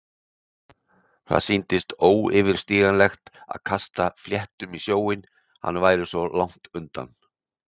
Það sýndist óyfirstíganlegt að kasta fléttum í sjóinn- hann væri svo langt undan.